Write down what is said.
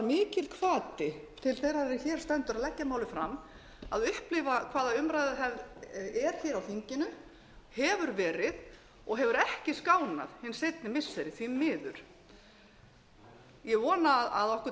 mikill hvati til þeirrar er hér stendur að leggja málið fram að upplifa hvaða umræðuhefð er hér á þinginu hefur verið og hefur ekki skánað hin seinni missiri því miður ég vona að okkur